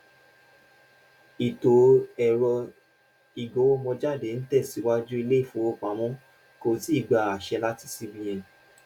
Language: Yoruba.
ìtò ẹrọ ìgowomójáde n tẹsiwaju iléifówopámọ kò tíì gbà àṣẹ láti c-b-n